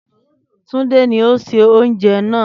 Túndé ni ó se oúnjẹ náà